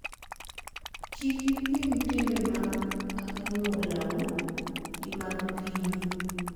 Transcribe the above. Kik ipim timbe mag anyuolau gi mag pinyu.